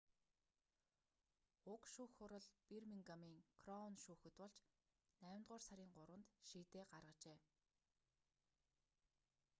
уг шүүх хурал бирмингамын кроун шүүхэд болж наймдугаар сарын 3-нд шийдээ гаргажээ